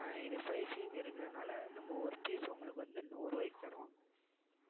அஹ் இது fiveC இருக்கறதுனால நம்ம ஒரு piece உங்களுக்கு வந்து நூறு ரூபாய்க்கு தருவோம்